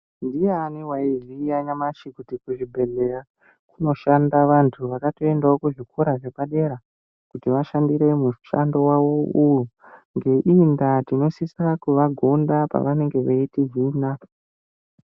Ndiani waiziya nyamashi kuti kuzvibhedhleya kunoshanda vantu vakatoendawo kuzvikora zvepadera kuti vashandiremwo mushando wavo uwu ngeimwe ngeiyi ndaa tinosisa kuvagonda panenge vechitihina.